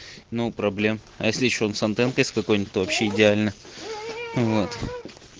ноу проблем а если что он с антенкой с какой-нибудь то вообще идеально вот